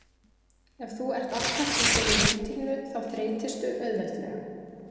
Ef þú ert alltaf í þeirri rútínu þá þreytistu auðveldlega.